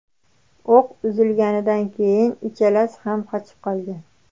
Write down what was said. O‘q uzilganidan keyin uchalasi ham qochib qolgan.